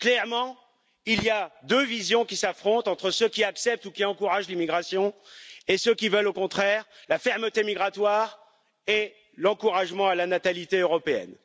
Clairement, il y a deux visions qui s'affrontent, entre ceux qui acceptent ou qui encouragent l'immigration et ceux qui veulent au contraire la fermeté migratoire et l'encouragement à la natalité européenne.